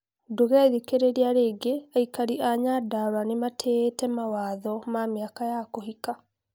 Ndũngethikiriria rĩngĩ, Aikari a Nyandarua nimatĩĩte mawatho ma miaka ya kũhika